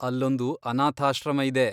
ಅಲ್ಲೊಂದು ಅನಾಥಾಶ್ರಮ ಇದೆ.